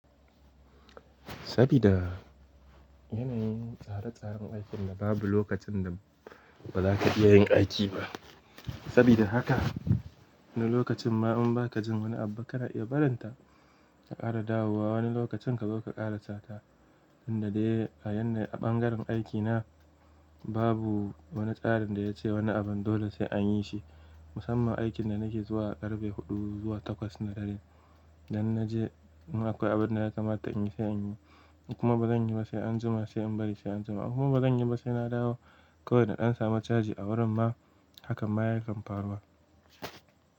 Sabida yanayin tsare tsaren aikin da babu lokacin da ba za ka iya yin aiki ba. Sabida haka wani lokacin ma in ba ka jin wani abu ka na iya barin ta ka kara dawowa wani lokacin ka zo ka ƙarasa ta. Inda dai a yadda a ɓangaren aikina babu wani tsarin da ya ce wani abun dole sai anyi shi. Musamman aikin da nake zuwa ƙarfe huɗu zuwa takwas na dare. Dan na je in akwai abin da ya kamata in yi sai in yi kuma ba zan yi ba sai anjima sai in bari sai anjima. Kuma ba zan yi ba sai na dawo. Ko da ɗan samu caji a wurin ma hakan ma ya kan faruwa.